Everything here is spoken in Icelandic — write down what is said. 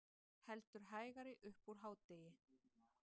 Heldur hægari upp úr hádegi